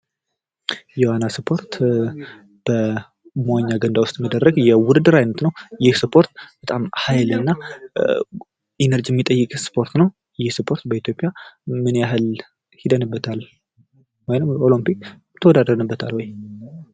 የዋና እስፖርት በመዋኛ ገንዳ ውስጥ የሚደረግ የውድድር አይነት ነው። ይህ እስፖርት በጣም ሀይልና ኢነርጂ የሚጠይቅ እስፖርት ነው። ይህ እስፖርት በኢትዮጵያ ምን ያህል ሂደንበታል? ወይም ኦሎፒክ ተወዳድረንበታል ወይ?